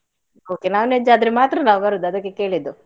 Okay, non-veg ಆದ್ರೆ ಮಾತ್ರ ನಾವು ಬರುದು ಅದಕ್ಕೆ ಕೇಳಿದ್ದು.